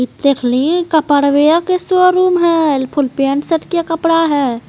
ई देखलीं कपड़वेया के शोरूम हइ फूल पेन्ट-शर्ट के कपडा हइ।